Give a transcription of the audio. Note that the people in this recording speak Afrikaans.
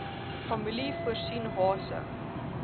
familie voorsien hase